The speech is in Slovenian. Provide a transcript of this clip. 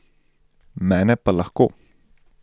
Mene pa lahko.